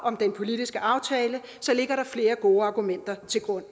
om den politiske aftale ligger der flere gode argumenter til grund